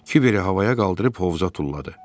Kiberi havaya qaldırıb hovuza tulladı.